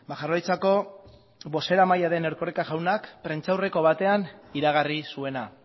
jaurlaritzako bozeramailea den erkoreka jaunak prentsaurreko batean iragarri zuena